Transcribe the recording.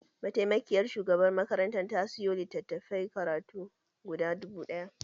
Mataimakiyar shugabar makarantar ta sayo litattafan karatu guda dubu ɗaya